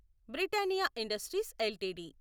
Britannia industries LTD